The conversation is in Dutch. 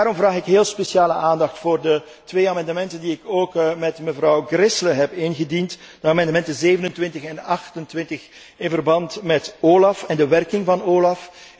Daarom vraag ik heel speciaal aandacht voor de twee amendementen die ik ook met mevrouw Gräßle heb ingediend, de amendementen 27 en 28 in verband met OLAF en de werking van